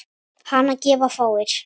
Hana gefa fáir.